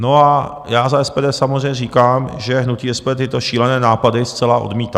No a já za SPD samozřejmě říkám, že hnutí SPD tyto šílené nápady zcela odmítá.